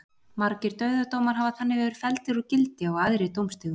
Margir dauðadómar hafa þannig verið felldir úr gildi á æðri dómstigum.